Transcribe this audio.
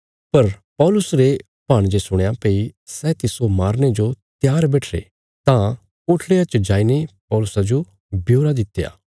पर पौलुस रे भाणजे सुणया भई सै तिस्सो मारने जो त्यार बैठिरे तां कोठड़िया च जाईने पौलुसा जो ब्योरा दित्या